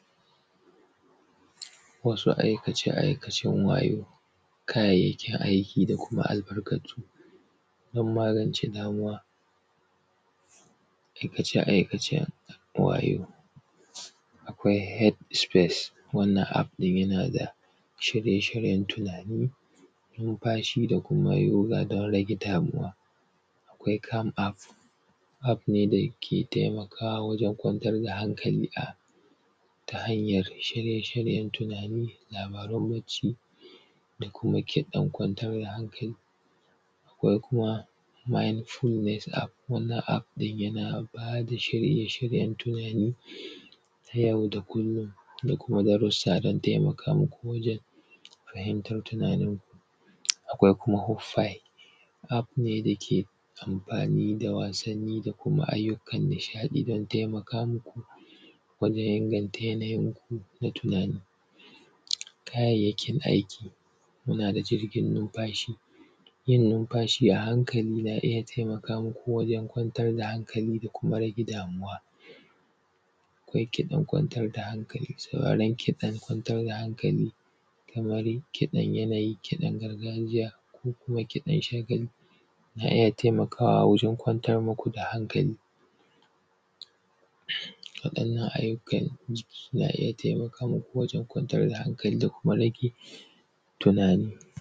Wasu aikace-aikacen wayo, kayayyakin aiki da kuma albarkatu, don magance damuwa. Aikace-aikacen wayo, akwai head space wannan App ɗin yana da, shirye-shiryen tunani, numfashi da kuma yoga don rage damuwa. Akwai camp App, App ne da yake kwantar da hankali ta hanyar shirye-shiryen tunani, labarin bacci, da kuma yake kwantar da hankali. Akwai kuma mindfulness App. Wannan App ɗin yana ba da shirye-shiryen tunani, da kuma darussa don taimaka muku wajen fahimtar tunaninku. Akwai kuma hoopify, App ne da yake amfani da wasanni da ayyukan nishaɗi don taimaka muku wajen inganta yanayinku na tunani. Kayayyakin aiki, muna da jirgin numfashi, yin numfashi a hankali na iya taimaka muku wajen kwantar da hankali da kuma rage damuwa. Akwai kiɗan kwantar da hankali. Sauraron kiɗan kwantar da hankali, kamar kiɗan yanayi, kiɗan gargajiya ko kuma kiɗan shagali, na iya taimakawa wajen kwantar muku da hankali. Wadannan ayyukan jikin na iya taimakawa wajen kwantar da hankali da kuma rage tunani.